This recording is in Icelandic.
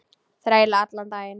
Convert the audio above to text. Þræla allan daginn!